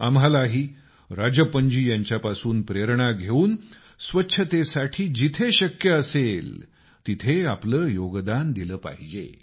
आम्हालाही राजप्पनजी यांच्यापासून प्रेरणा घेऊन स्वच्छतेसाठी जिथं शक्य असेल तिथं आपलं योगदान दिलं पाहिजे